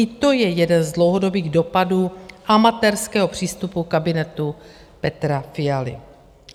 I to je jeden z dlouhodobých dopadů amatérského přístupu kabinetu Petra Fialy.